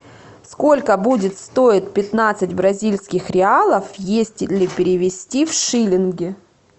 сколько будет стоить пятнадцать бразильских реалов если перевести в шиллинги